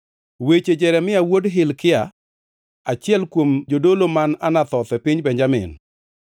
Weche Jeremia wuod Hilkia, achiel kuom jodolo man Anathoth e piny Benjamin.